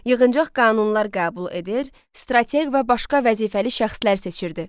Yığıncaq qanunlar qəbul edir, strateq və başqa vəzifəli şəxslər seçirdi.